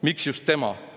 Miks just tema?